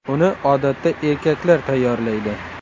Uni odatda erkaklar tayyorlaydi.